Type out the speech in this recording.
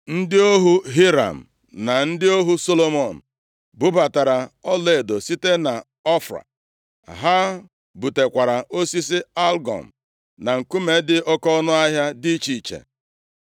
Ndị ohu Hiram na ndị ohu Solomọn bubatara ọlaedo site nʼỌfịa. Ha butekwara osisi algụm, na nkume dị oke ọnụahịa dị iche iche.